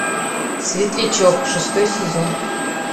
светлячок шестой сезон